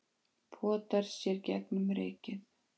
potar sér gegnum rykið